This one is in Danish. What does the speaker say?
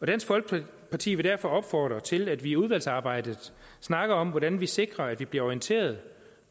dansk folkeparti vil derfor opfordre til at vi i udvalgsarbejdet snakker om hvordan vi sikrer at vi bliver orienteret